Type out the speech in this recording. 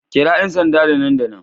Kira 'yan sanda da nan da nan